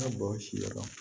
bɔn si yɔrɔ la